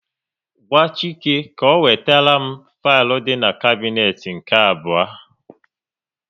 Gwa Chike ka ọ wetere m filu dị n'kabnet nke abụọ